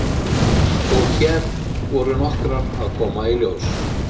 Karen: Og hér voru nokkrar að koma í ljós?